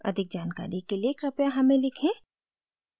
अधिक जानकारी के लिए कृपया हमें लिखें